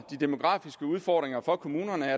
de demografiske udfordringer for kommunerne